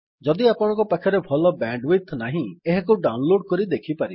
ଯଦି ଆପଣଙ୍କ ପାଖରେ ଭଲ ବ୍ୟାଣ୍ଡୱିଡଥ୍ ନାହିଁ ଏହାକୁ ଡାଉନଲୋଡ୍ କରି ଦେଖିପାରିବେ